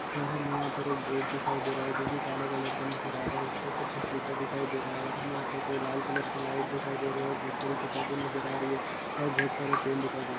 और हमे यहां पर एक बोर्ड दिखाई दे रहा है जो कि काले कलर का नज़र आ रहा है उसके ऊपर कुछ लिखा दिखाई दे रहा है और हमे यहाँ पर दो लाल कलर के लाइट दिखाई दे रहे है और बहुत सारी किताबे नज़र आ रही है और बहुत सारे पेन दिखाई दे रहे है।